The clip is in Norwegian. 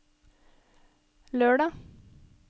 lørdag